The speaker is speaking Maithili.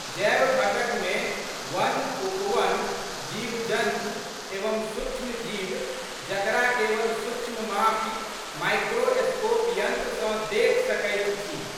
जैव घटकमे वनउपवन, जीवजन्तु एवं सूक्ष्मजीव जकरा केवल सूक्ष्ममापी, माइक्रोस्कोप यंत्र सँ देखि सकैत छी।